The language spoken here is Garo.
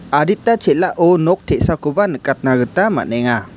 adita chel·ao nok te·sakoba nikatnagita man·enga.